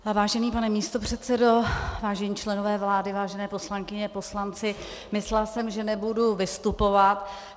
Vážený pane místopředsedo, vážení členové vlády, vážené poslankyně, poslanci, myslela jsem, že nebudu vystupovat.